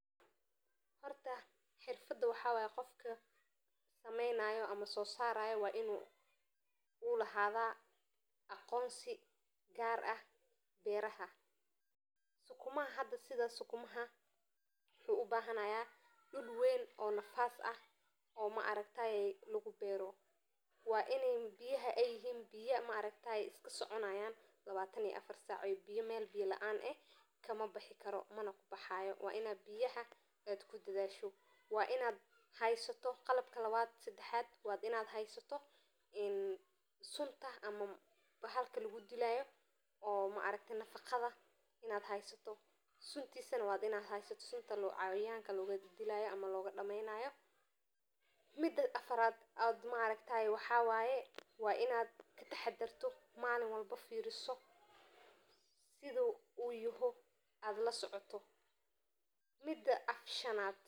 Geedka caleenta badan ee sareeya waa mid ka mid ah dhirta ugu quruxda badan ee ku baxa beeraha, isagoo leeyahay caleemo cagaaran oo balaadhan oo si qurux badan u qaabeeyey laamaha fudud ee ay ku dhex wareegaan dabaylaha, taas oo keenta in uu muugo qurux badan oo dabiici ah oo ka duwan geedo kale oo aan sidaas u caleen badaneyn, sidaas darteed geedkani wuxuu noqon karaa meel lagu istiraamto ama lagu qurxiyo beeraha, gaar ahaan marka caleemihiisu yihiin midab cagaaran oo ifaya oo ka dhaxaysa dhulka oo cad iyo cirka buluugga ah.